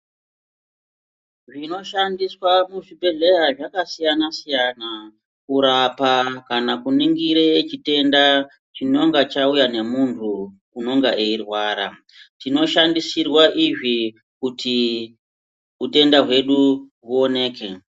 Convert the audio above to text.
Zvinoshandiswa kuzvibhedhleya zvakasiyana-siyana, kurapa kana kuningire chitenda chinonga chauya nemunhu unonga eirwara. Tinoshandisirwa izvi kuti utenda hwedu hwuoneke.